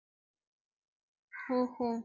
ஓஹோ